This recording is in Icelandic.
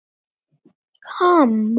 En ég er ekki hrædd.